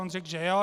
On řekl, že jo.